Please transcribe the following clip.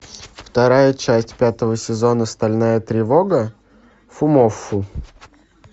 вторая часть пятого сезона стальная тревога фумоффу